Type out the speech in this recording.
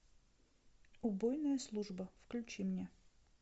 убойная служба включи мне